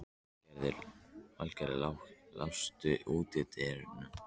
Vilgerður, læstu útidyrunum.